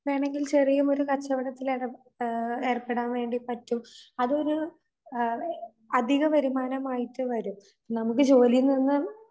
വേണങ്കിൽ ചെറിയഒരു കച്ചവടത്തിലക ഏഹ് ഏർപ്പെടാൻവേണ്ടിപറ്റും അതൊരു അഹ് അതികവരുമാനമായിട്ട് വരും. നമുക്ക് ജോലിയിൽനിന്ന്